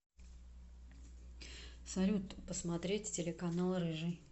салют посмотреть телеканал рыжий